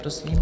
Prosím.